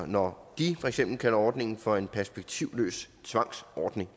når de for eksempel kalder ordningen for en perspektivløs tvangsordning